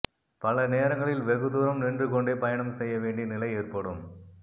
பல நேரங்களில் வெகுதூரம் நின்று கொண்டே பயணம் செய்ய வேண்டிய நிலை ஏற்படும்